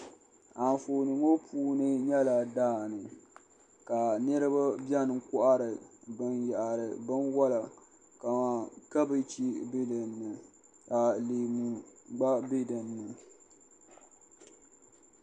Anfooni ŋɔ puuni nyɛla daa ni ka niriba bɛni kɔhiri bini yahari bini wola ka kabieji bɛ dinni ka leemu gba bɛ dini.